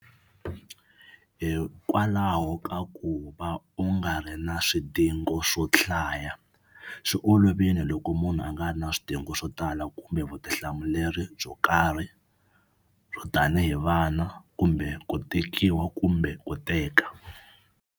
Hikwalaho ka ku va u nga ri na swidingo swo hlaya swi olovile loko munhu a nga ri na swidingo swo tala kumbe vutihlamuleri byo karhi byo tanihi vana kumbe ku tekiwa kumbe ku teka.